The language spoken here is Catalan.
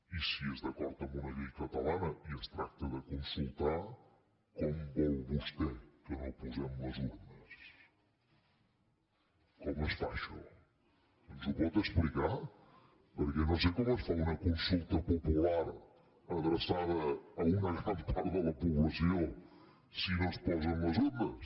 i si és d’acord amb una llei catalana i es tracta de consultar com vol vostè que no hi posem les urnes com es fa això ens ho pot explicar perquè no sé com es fa una consulta popular adreçada a una gran part de la població si no s’hi posen les urnes